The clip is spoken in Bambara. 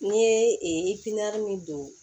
N'i ye min don